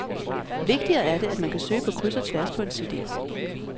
Vigtigere er det, at man kan søge på kryds og tværs på en cd.